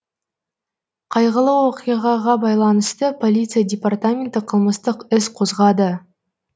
қайғылы оқиғаға байланысты полиция департаменті қылмыстық іс қозғады